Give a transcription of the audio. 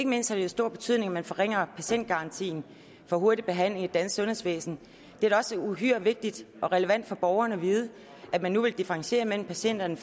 mindst har det jo stor betydning at man forringer patientgarantien for hurtig behandling i det danske sundhedsvæsen det er da også uhyre vigtigt og relevant for borgerne at vide at man nu vil differentiere mellem patienterne